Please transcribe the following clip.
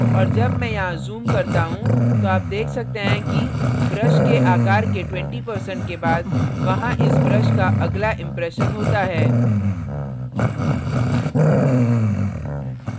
और जब मैं यहाँ zoom करता हूँ तो आप देख सकते हैं कि brush के आकार के 20% के बाद वहाँ इस brush का अगला impression होता है